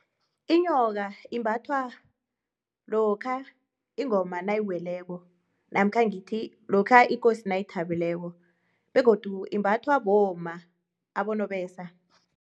Inyoka imbathwa lokha ingoma nayiweleko namkha ngithi ikosi nayithabileko, begodu imbathwa bomma abonobesa.